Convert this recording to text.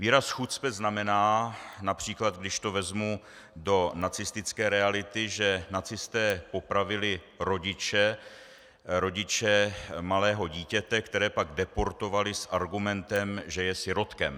Výraz chucpe znamená například, když to vezmu do nacistické reality, že nacisté popravili rodiče malého dítěte, které pak deportovali s argumentem, že je sirotkem.